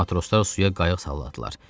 Matroslar suya qayıq salladılar.